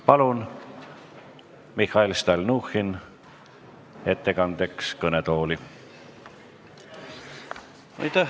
Palun Mihhail Stalnuhhini ettekandeks kõnetooli!